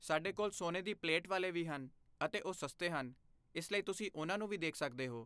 ਸਾਡੇ ਕੋਲ ਸੋਨੇ ਦੀ ਪਲੇਟ ਵਾਲੇ ਵੀ ਹਨ ਅਤੇ ਉਹ ਸਸਤੇ ਹਨ, ਇਸ ਲਈ ਤੁਸੀਂ ਉਹਨਾਂ ਨੂੰ ਵੀ ਦੇਖ ਸਕਦੇ ਹੋ।